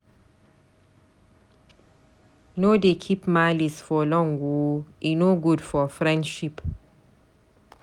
No dey keep malice for long o, e no good for friendship.